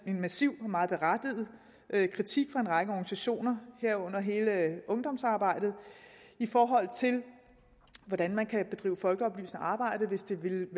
massiv og meget berettiget kritik fra en række organisationer herunder hele ungdomsarbejdet i forhold til hvordan man kan drive folkeoplysende arbejde hvis det vil